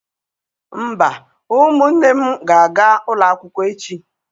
Mba, ụmụnne m ga-aga ụlọ akwụkwọ echi.